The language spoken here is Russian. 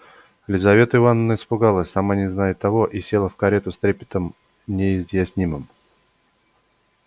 лизавета ивановна испугалась сама не зная того и села в карету с трепетом неизъяснимым